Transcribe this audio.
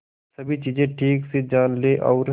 सभी चीजें ठीक से जान ले और